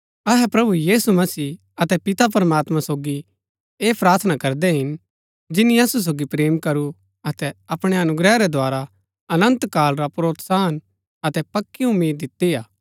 अहै प्रभु यीशु मसीह अतै पिता प्रमात्मां सोगी ऐह प्रार्थना करदै हिन जिनी असु सोगी प्रेम करू अतै अपणै अनुग्रह रै द्धारा अनन्त काल रा प्रोत्साहन अतै पक्की उम्मीद दिती हा